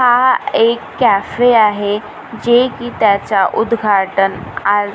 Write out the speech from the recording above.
हा एक कॅफे आहे जे की त्याचा उद्घाटन आ--